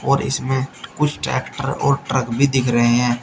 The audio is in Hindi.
और इसमें कुछ ट्रैक्टर और ट्रक भी दिख रहे हैं।